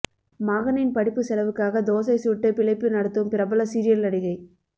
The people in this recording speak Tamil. மகனின் படிப்பு செலவுக்காக தோசை சுட்டு பிழைப்பு நடத்தும் பிரபல சீரியல் நடிகை